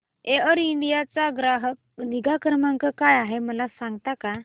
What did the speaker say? air India चा ग्राहक निगा क्रमांक काय आहे मला सांगता का